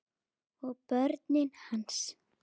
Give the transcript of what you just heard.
Og börnin hans.